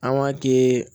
An b'a kɛ